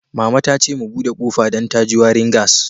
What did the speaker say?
Mama ta ce mu bude kofan dan da ji warin gas.